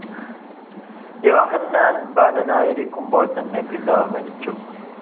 യോഹന്നാൻ ബാലനായിരിക്കുമ്പോൾ തന്നെ പിതാവ് മരിച്ചു.